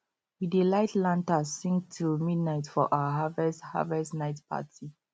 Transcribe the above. we dey light lanterns sing till midnight for our harvest harvest night party